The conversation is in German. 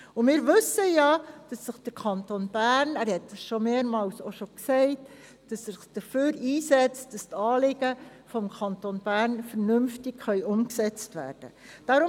Und wir wissen ja, dass sich der Kanton Bern dafür einsetzt, damit seine Anliegen vernünftig umgesetzt werden können.